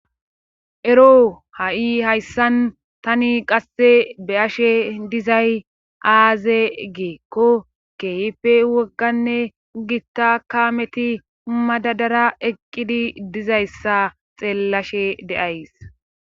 Dro ha7i hayssan tani qasse be ashe dizay aaze geekko keyife wogganne gitta kaameti madadara eqqidi dizayssa xeellashe deays.